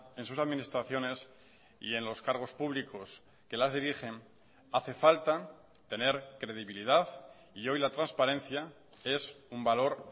en sus administraciones y en los cargos públicos que las dirigen hace falta tener credibilidad y hoy la transparencia es un valor